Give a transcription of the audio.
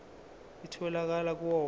itholakala kuwo onke